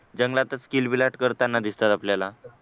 जंगलातच किलबिलाट करताना दिसतात आपल्याला